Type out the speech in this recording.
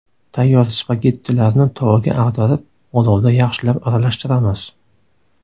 Tayyor spagettilarni tovaga ag‘darib, olovda yaxshilab aralashtiramiz.